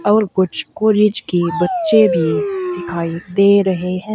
और कुछ कॉलेज के बच्चे भी दिखाई दे रहे हैं।